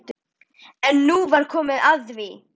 EN NÚ VAR KOMIÐ AÐ ÞVÍ.